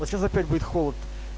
вот сейчас опять будет холод